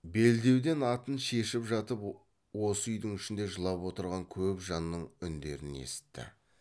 белдеуден атын шешіп жатып осы үй ішінде жылап отырған көп жанның үндерін есітті